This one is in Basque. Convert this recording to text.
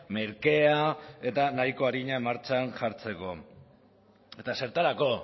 merkea eta nahiko arina martxan jartzeko eta zertarako